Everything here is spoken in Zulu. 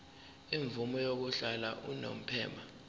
imvume yokuhlala unomphema